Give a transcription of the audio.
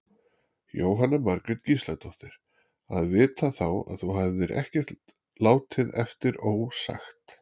Jóhanna Margrét Gísladóttir: Að vita þá að þú hefðir ekkert látið eftir ósagt?